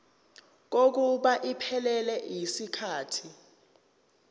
kokuba iphelele yisikhathi